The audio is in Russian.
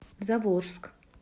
заволжск